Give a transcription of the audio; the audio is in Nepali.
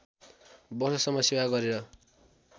वर्षसम्म सेवा गरेर